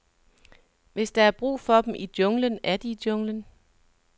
Hvis der er brug for dem i junglen, er de i junglen.